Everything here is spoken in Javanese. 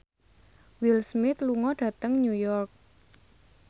Will Smith lunga dhateng New York